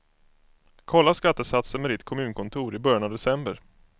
Kolla skattesatser med ditt kommunkontor i början av december.